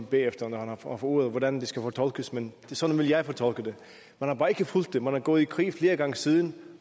bagefter når han får ordet om hvordan det skal fortolkes men sådan ville jeg fortolke det man har bare ikke fulgt det man er gået i krig flere gange siden